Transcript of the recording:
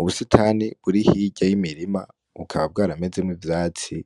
Ubusitani buri hirya y'imirima bukaba bwaramezemwo ivyatsi,